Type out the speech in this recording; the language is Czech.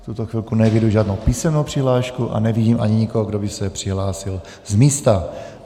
V tuto chvilku neeviduji žádnou písemnou přihlášku a nevidím ani nikoho, kdo by se přihlásil z místa.